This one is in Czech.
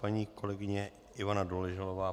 Paní kolegyně Ivana Doležalová.